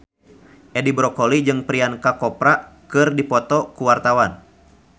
Edi Brokoli jeung Priyanka Chopra keur dipoto ku wartawan